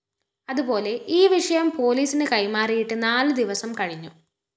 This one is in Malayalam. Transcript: അതുപോലെ ഈ വിഷയം പോലീസിന് കൈമാറിയിട്ട് നാല് ദിവസം കഴിഞ്ഞു